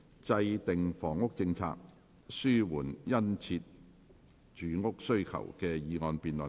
"制訂房屋政策紓緩殷切住屋需求"的議案辯論。